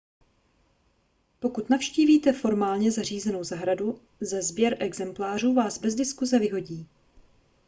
pokud navštívíte formálně zařízenou zahradu za sběr exemplářů vás bez diskuse vyhodí